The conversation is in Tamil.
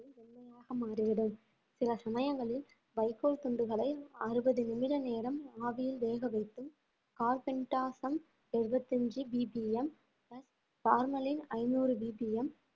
முழுமையாக மாறிவிடும் சில சமயங்களில் வைக்கோல் துண்டுகளை அறுபது நிமிட நேரம் ஆவியில் வேகவைத்து கார்பெண்டசம் எழுபத்தி அஞ்சு VPM பார்மலின் ஐந்நூறு VPM